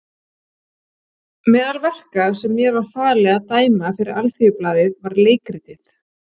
Meðal verka sem mér var falið að dæma fyrir Alþýðublaðið var leikritið